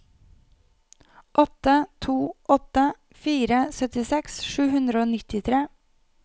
åtte to åtte fire syttiseks sju hundre og nittitre